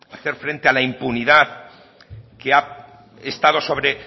hacer frente a la impunidad que ha estado sobre